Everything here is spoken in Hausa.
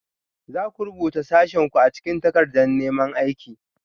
Za ku rubuta sashenku a cikin takardar neman aiki?